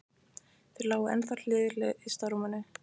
Þau lágu ennþá hlið við hlið yst á rúminu.